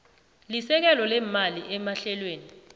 sesekelo leemali emahlelweni